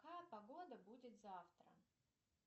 какая погода будет завтра